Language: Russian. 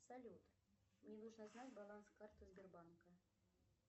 салют мне нужно знать баланс карты сбербанка